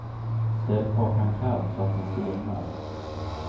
Ställ kakan kallt så att den stelnar.